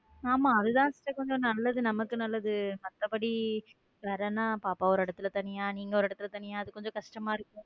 ஆமா அதுதான் sister கொஞ்சம் நமக்கு நல்லது மத்தபடி வேற என்ன பாப்பா ஒரு இடத்துல தனியா நீங்க ஒரு இடத்துல தனியா அது கொஞ்சம் கஷ்டமா இருக்கும்.